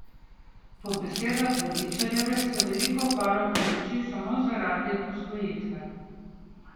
Po besedah Vodičarjeve se veliko parov poroči samo zaradi posvojitve.